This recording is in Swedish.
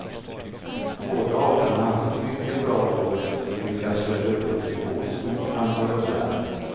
Båda arterna har haft ett mycket bra år och lyckats föda upp ett rekordstort antal ungar.